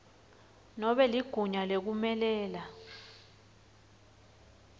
nobe ligunya lekumelela